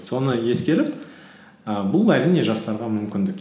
соны ескеріп і бұл әрине жастарға мүмкіндік